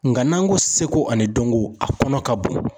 Nka n'an ko seko ani dɔnko a kɔnɔ ka bon.